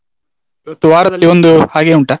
ಇವತ್ತು ವಾರದಲ್ಲಿ ಒಂದು ಹಾಗೆ ಉಂಟಾ?